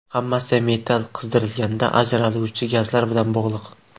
Hammasi metal qizdirilganda ajraluvchi gazlar bilan bog‘liq.